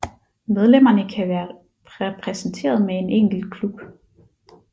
Medlemmerne kan være repræsenteret med en enkelt klub